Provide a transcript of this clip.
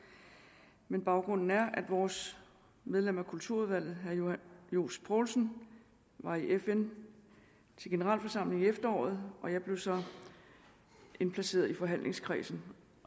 nu baggrunden er at vores medlem af kulturudvalget herre johs poulsen var i fn til generalforsamling i efteråret og jeg blev så indplaceret i forhandlingskredsen